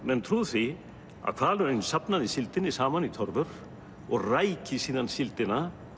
menn trúðu því að hvalurinn safnaði síldinni saman í torfur og ræki síðan síldina